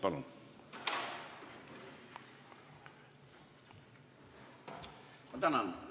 Palun!